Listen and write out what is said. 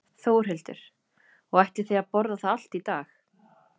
Þórhildur: Og ætlið þið að borða það allt í dag?